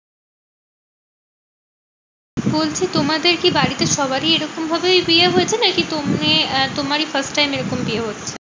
বলছি তোমাদের কি সবারই এরকম ভাবেই বিয়ে হয়েছে? নাকি তুমি আহ তোমারই first time এরকম বিয়ে হচ্ছে?